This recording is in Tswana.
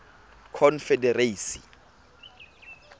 confederacy